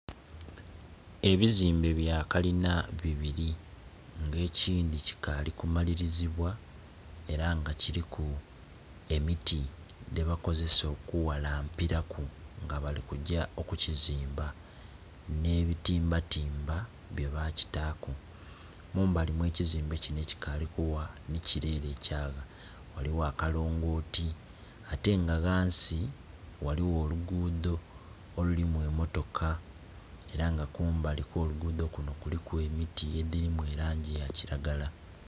Ebizimbe bya kalina bibiri, nga ekindi kikaali ku malirizibwa, era nga kiriku emiti gyebakozesa oku ghalampiraku nga bali kugya okukizimba nh'ebitimbatiimba by bakitaku kumbali okwekizimbe kinho ekikaali kugha ni kire ere ekyagwa, ghaligho akalongoti, atenga ghansi ghaligho olugudho olirimu emotoka era nga kumbali kwolugudho kunho kuliku emiti egiri mu langi eyakiragala.